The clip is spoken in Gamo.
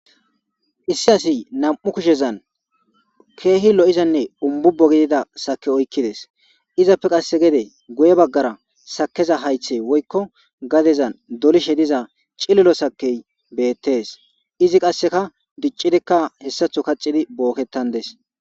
issi asi nam7u kushezan keehi lo7izanne umbubo gidida sake oykkides izappe qasse gede guye baggara sakeza haythe woykko gadezan dolishe diza cililo sakey beettes izi qasseka diccidikka hessatho kacidi bookettan des